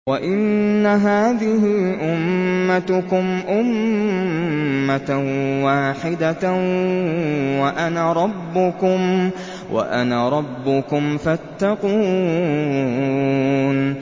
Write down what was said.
وَإِنَّ هَٰذِهِ أُمَّتُكُمْ أُمَّةً وَاحِدَةً وَأَنَا رَبُّكُمْ فَاتَّقُونِ